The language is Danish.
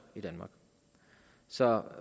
i danmark så